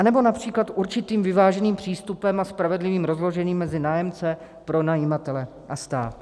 Anebo například určitým vyváženým přístupem a spravedlivým rozložením mezi nájemce, pronajímatele a stát.